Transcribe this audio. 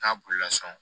K'a bolila sɔn